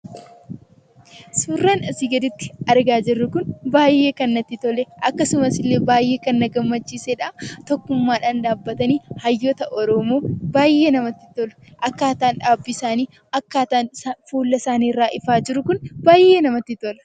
Suuraan asii gaditti argaa jirru kun baay'ee kan natti tole! Akkasumas illee baay'ee kan na gammachiisedha! Tokkummaadhaan dhaabbatanii hayyoota Oromoo baay'ee namatti tolu! Akkaataan dhaabbii isaanii, akkaataan fuula isaanii irraa ifaa jiru kuni baay'ee namatti tola!